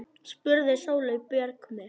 spurði Sóley Björk mig.